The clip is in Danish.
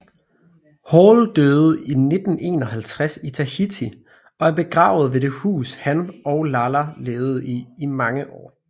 Hall døde i 1951 i Tahiti og er begravet ved det hus han og Lala levede i i mange år